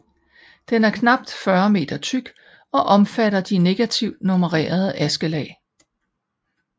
Den er knap 40 meter tyk og omfatter de negativt nummererede askelag